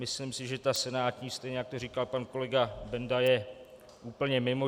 Myslím si, že ta senátní, stejně jak to říkal pan kolega Benda, je úplně mimo.